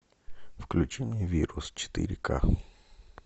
включи мне вирус четыре к